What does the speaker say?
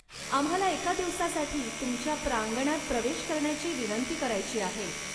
आम्हाला एका दिवसासाठी तुमच्या प्रांगणात प्रवेश करण्याची विनंती करायची आहे.